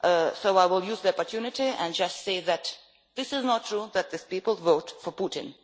So I will use the opportunity and just say it is not true that these people vote for Putin.